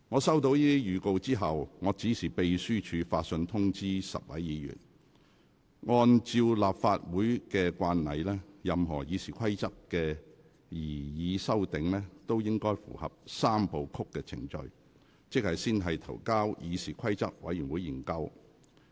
收到這些預告後，我指示秘書發信通知10位議員，按照立法會慣例，任何《議事規則》的擬議修訂，均應合乎"三部曲"程序，即先提交議事規則委員會研究。